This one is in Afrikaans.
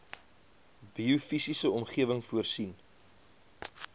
biofisiese omgewing voorsien